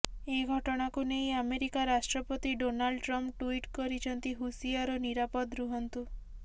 ଏ ଘଟଣାକୁ ନେଇ ଆମେରିକା ରାଷ୍ଟ୍ରପତି ଡୋନାଲ୍ଡ ଟ୍ରମ୍ପ୍ ଟୁଇଟ୍ କରିଛନ୍ତି ହୁସିଆର୍ ଓ ନିରାପଦ୍ ରୁହନ୍ତୁ